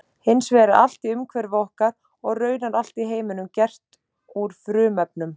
Hins vegar er allt í umhverfi okkar og raunar allt í heiminum gert úr frumefnum.